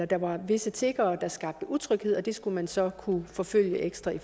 der var visse tiggere der skabte utryghed og det skulle man så kunne forfølge ekstra